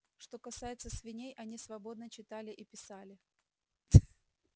что касается свиней они свободно читали и писали